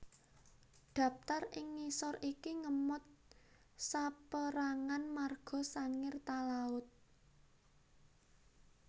Daptar ing ngisor iki ngemot saperangan marga Sangir Talaud